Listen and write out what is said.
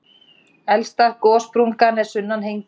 Elsta gossprungan er sunnan Hengils.